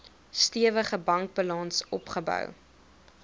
stewige bankbalans opgebou